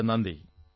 വളരെ വളരെ നന്ദി